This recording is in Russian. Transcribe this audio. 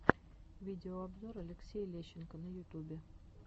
видеообзор алексей лещенко на ютубе